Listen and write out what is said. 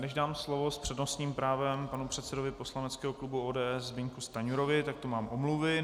Než dám slovo s přednostním právem panu předsedovi poslaneckého klubu ODS Zbyňku Stanjurovi, tak tu mám omluvy.